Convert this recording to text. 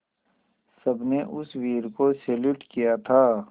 सबने उस वीर को सैल्यूट किया था